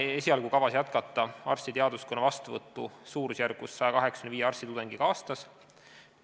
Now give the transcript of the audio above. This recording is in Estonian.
Esialgu on kavas jätkata arstiteaduskonna vastuvõttu suurusjärgus 185 arstitudengiga aastas.